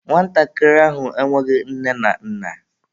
Nwatakịrị ahụ enweghị nne na nna.